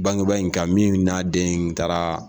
Bangeba in kan min n'a den taara